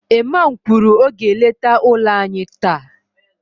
Iman kwuru, ọ ga-eleta ụlọ anyị taa